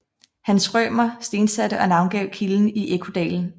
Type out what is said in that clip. Hans Rømer stensatte og navngav kilden i Ekkodalen